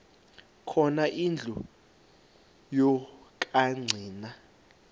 khona indlu yokagcina